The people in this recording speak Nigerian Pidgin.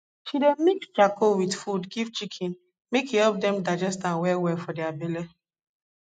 she dey mix charcoal with food give chicken make e help dem digest am well well for their belle